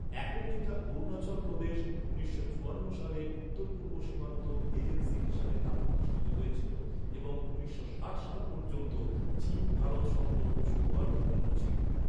এখন যেটা অরুণাচল প্রদেশ, উনিশশো চুয়ান্ন সালে উত্তর পূর্ব সীমান্ত এজেন্সি হিসাবে তা প্রতিষ্ঠিত হয়েছিল এবং উনিশশো ষাট সাল পর্যন্ত চীন ভারত সম্পর্ক সৌহার্দ্যপূর্ণ ছিল।